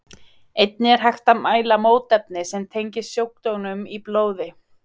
Einnig er hægt að mæla mótefni sem tengjast sjúkdómnum í blóði.